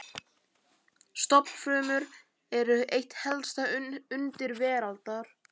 Stofnfrumur eru eitt helsta undur veraldar.